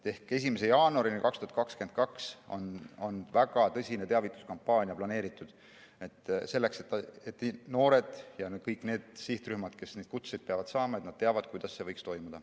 1. jaanuarini 2022 on väga tõsine teavituskampaania planeeritud, selleks et noored ja kõik need sihtrühmad, kes neid kutseid peavad saama, teaksid, kuidas see võiks toimuda.